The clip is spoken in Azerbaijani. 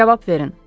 Cavab verin.”